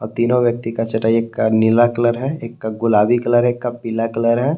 तीनो व्यक्ति का चटाई एक का नीला कलर है एक का गुलाबी कलर है एक का पीला कलर है।